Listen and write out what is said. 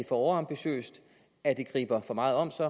overambitiøst at det griber for meget om sig